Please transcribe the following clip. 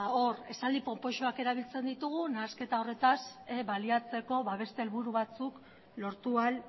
hor esaldi ponpoxoak erabiltzen ditugu nahasketa horretaz baliatzeko beste helburu batzuk lortu ahal